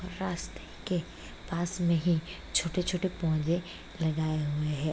रास्ते के पास में ही छोटे-छोटे पौधे लगाए हुए हैं।